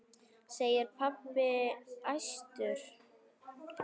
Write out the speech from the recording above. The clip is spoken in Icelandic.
segir pabbi æstur.